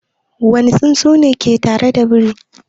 Wane tsuntsu ne ke tare da biri?